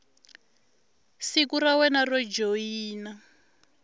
siku ra wena ro joyina